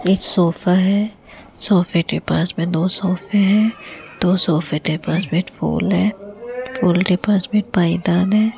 एक सोफा है सोफे के पास में दो सोफे हैं दो सोफे के पास में एक फूल है फूलों के पास में पायदान है।